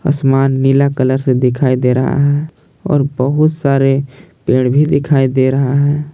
आसमान नीला कलर से दिखाई दे रहा है और बहुत सारे पेड़ भी दिखाई दे रहा है।